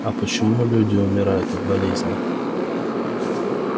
а почему люди умирают от болезней